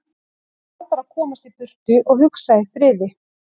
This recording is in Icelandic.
Hann varð bara að komast í burtu og hugsa í friði.